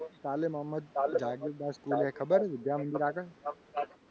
તાલે મહંમદ જાગીરદાર school છે. ખબર છે. વિદ્યામંદિર આગળ